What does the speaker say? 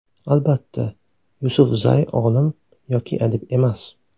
Albatta, Yusufzay olim yoki adib emas.